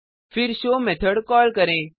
फिर show method call करें